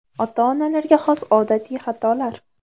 Ota-onalarga xos odatiy xatolar.